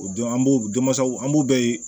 O don an b'o denmasaw an b'u bɛɛ ye